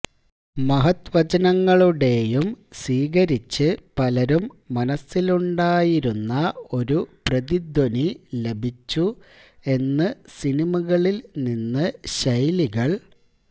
മഹത്വചനങ്ങളുടേയും സ്വീകരിച്ച് പലരും മനസ്സിലുണ്ടായിരുന്ന ഒരു പ്രതിധ്വനി ലഭിച്ചു എന്നു സിനിമകളിൽ നിന്ന് ശൈലികൾ